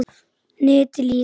NETIÐ LÝKUR